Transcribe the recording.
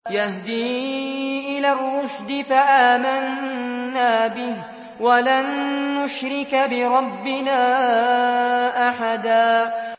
يَهْدِي إِلَى الرُّشْدِ فَآمَنَّا بِهِ ۖ وَلَن نُّشْرِكَ بِرَبِّنَا أَحَدًا